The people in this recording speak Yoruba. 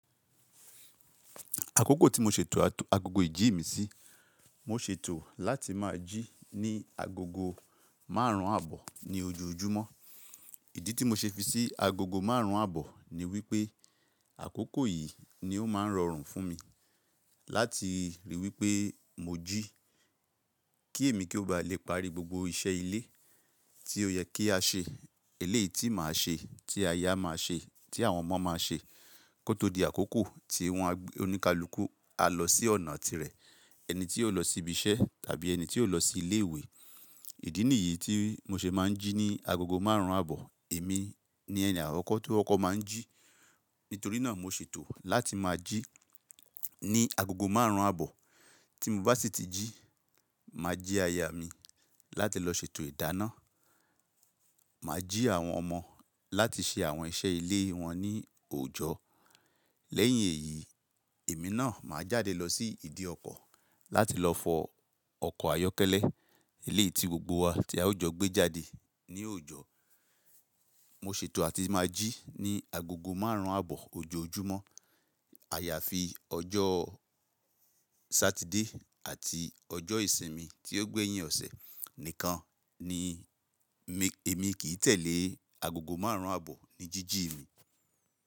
Àkókò tí mo ṣètò agogo ìjí mi sí, mo ṣètò láti máa jí ní agogo márùn-ún àbọ̀ ní ojoojúmọ́. Ìdí tí mo ṣe fi sí agogo márùn-ún àbọ̀ ni wípé àkókò yìí ni ó máa ń rọrùn fún mi láti ríi wípé mo jí kí èmi kí ó ba lè parí gbogbo iṣẹ́ ilé tí ó yẹ kí a ṣe. Eléyìí tí màá ṣe, tí aya máa ṣe, tí àwọn ọmọ máa ṣe kó tó di àkókò tí wọn oníkálukú á lọ sí ọ̀nà tirẹ̀, ẹni tí yóò lọ sí ibi iṣẹ́ tàbí ẹni tí yóò lọ sí ilé ìwé. Ìdí nìyí tí mo ṣe máa ń jí ní agogo márùn-ún àbọ̀. Èmi ni ẹni àkọ́kọ́ tí ókọ́kọ́ máa ń jí. Nítorí náà mo ṣètò láti máa jí ní agogo márùn-ún àbọ̀. Tí mo bá sì tí jí, màá jí aya mi láti lọ ṣètò ìdáná. Màá jí àwọn ọmọ láti ṣe àwọn iṣẹ́ ilé wọn ní òòjọ́. Lẹ́yìn èyí, èmi náà máa jáde lọ sí ìdí ọkọ̀ láti lọ fọ ọkọ̀ ayọ́kẹ́lẹ́ eléyìí tí gbogbo wa tí a ó jọ gbé jáde ní òòjọ́. Mo ṣètò láti máa jí ní agogo márùn-ún àbọ̀ ojoojúmọ́. Àyàfi ọjọ́ Sátidé àti ọjọ́ ìsinmi tí ó gbé yín ọ̀sẹ̀ nìkan ni èmi kì í tẹ̀lé agogo márùn-ún àbọ̀ ní jíjí mi.